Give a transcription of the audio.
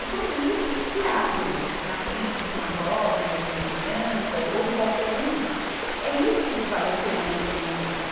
E quando isso se abre na frente de uma jovem, ou de uma criança, ou de qualquer um, é isso que vale a pena naquele momento.